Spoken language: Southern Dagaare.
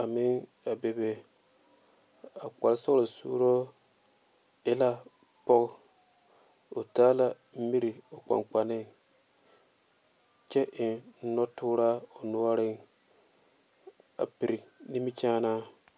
a meŋ a be be a kpare sɔglɔ sure e la pɔge o taa la mire o kpaŋ kpanne kyɛ eŋ noɔ tooraa o noɔre a pere nimikyaane.